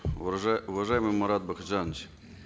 уважаемый марат бакытжанович